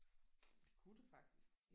Det kunne det faktisk